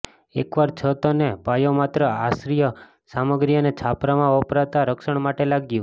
એકવાર છત અને પાયો માત્ર આશ્રય સામગ્રી અને છાપરામાં વપરાતા રક્ષણ માટે લાગ્યું